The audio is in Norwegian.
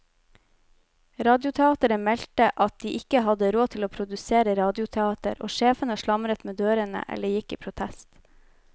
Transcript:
Radioteateret meldte at de ikke hadde råd til å produsere radioteater, og sjefene slamret med dørene eller gikk i protest.